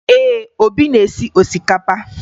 Ee, Obi na-esi osikapa